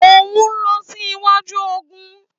Óun lọ sí iwájú ogun